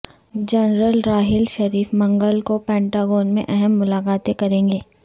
general Raheel Sharif منگل کو Pentagon میں اہم ملاقاتیں کریں گے